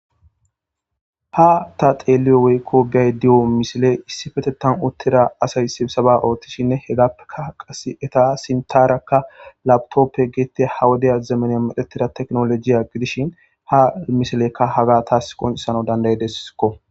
Ha ta xeeliyo woykko biay diyo misile issi fetettan uttira asay sibisaba ooththishinne hegappeka qas eta sintaraka laptoppe geettea hawodeya zemaney madhetida teknolojiya gidishin ha misilekka haga taas qoncesano dandayedeskko